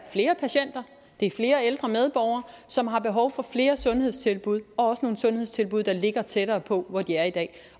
flere patienter det er flere ældre medborgere som har behov for flere sundhedstilbud og også nogle sundhedstilbud der ligger tættere på hvor de er i dag